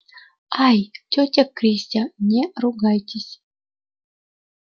ай тётя кристя не ругайтесь